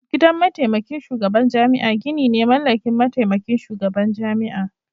Gidan mataimakin shugaban jami'a gini ne mallakin mataimakin shugaban jami'a.